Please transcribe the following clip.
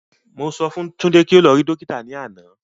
Mo sọ fún Tunde pé kí o lọ rí Dókítà ní àná